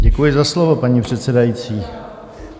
Děkuji za slovo, paní předsedající.